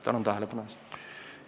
Tänan tähelepanu eest!